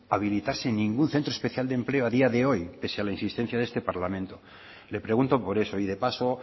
habilitarse ningún centro especial de empleo a día de hoy pese a la insistencia de este parlamento le pregunto por eso y de paso